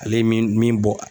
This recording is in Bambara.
Ale ye min min